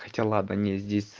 хотя ладно не здесь